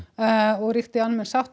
og ríkti almenn sátt